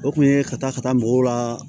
O kun ye ka taa ka taa mɔgɔw la